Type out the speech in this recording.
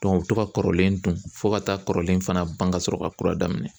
u bɛ to ka kɔrɔlen dun fɔ ka taa kɔrɔlen fana ban ka sɔrɔ ka kura daminɛ.